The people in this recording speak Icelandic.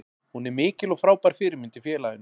Hún er mikil og frábær fyrirmynd í félaginu.